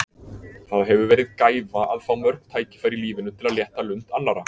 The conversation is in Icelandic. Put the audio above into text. Það hefur verið gæfa að fá mörg tækifæri í lífinu til að létta lund annarra.